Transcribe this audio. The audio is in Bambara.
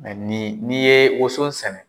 ni n'i ye woson sɛnɛ